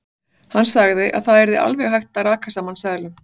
Hann sagði að það yrði alveg hægt að raka saman seðlum.